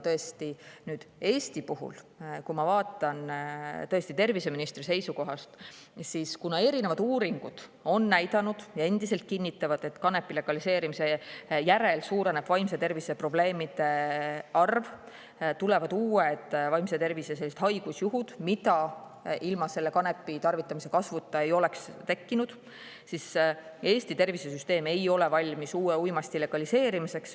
Nüüd, Eesti puhul, kui ma vaatan terviseministri seisukohast, siis kuna erinevad uuringud on näidanud, et kanepi legaliseerimise järel suureneb vaimse tervise probleemide arv, tulevad vaimse tervise haigusjuhud, mida ilma kanepi tarvitamise kasvuta ei oleks tekkinud, siis väidan, et Eesti tervisesüsteem ei ole valmis uue uimasti legaliseerimiseks.